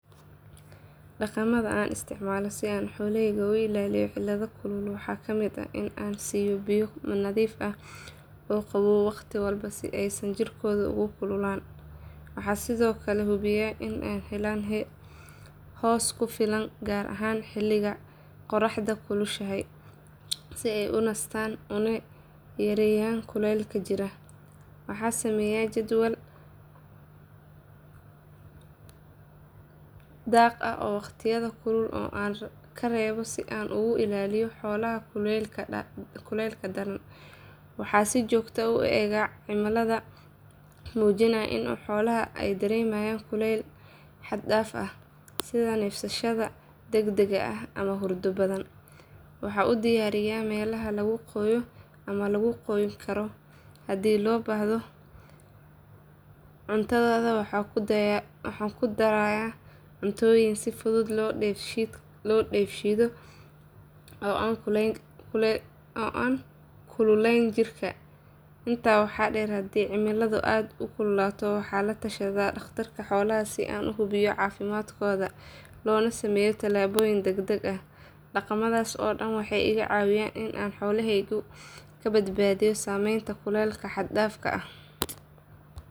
Dhaqamada aan isticmaalo si aan xoolahayga uga ilaaliyo cilada kulul waxaa ka mid ah in aan siiyo biyo nadiif ah oo qabow waqti walba si aysan jirkooda ugu kululaan. Waxaan sidoo kale hubiyaa in ay helaan hoos ku filan gaar ahaan xilliga qorraxda kulushahayso si ay u nastaan una yareeyaan kulaylka jirka. Waxaan sameeyaa jadwal daaq oo waqtiyada kulul aan ka reebo si aan uga ilaaliyo xoolaha kulaylka daran. Waxaan si joogto ah u eegaa calaamadaha muujinaya in xooluhu ay dareemayaan kulayl xad dhaaf ah sida neefsashada degdegga ah ama hurdo badan. Waxaan u diyaariyaa meelaha lagu qoyo ama lagu qoyn karo haddii loo baahdo. Cuntadooda waxaan ku darayaa cuntooyin si fudud loo dheefshiido oo aan kululayn jirka. Intaa waxaa dheer haddii cimiladu aad u kululaato waxaan la tashadaa dhakhtar xoolaad si aan u hubiyo caafimaadkooda loona sameeyo tallaabooyin degdeg ah. Dhaqamadaas oo dhan waxay iga caawiyaan in aan xoolahayga ka badbaadiyo saameynta kulka xad dhaafka ah.